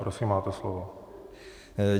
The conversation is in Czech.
Prosím, máte slovo.